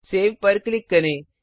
save पर click करें